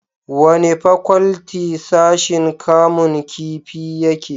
wani fakwalti sashin kamun kifi yake?